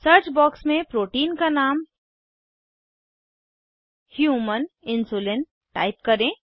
search box में protein का नाम ह्यूमन इन्सुलिन टाइप करें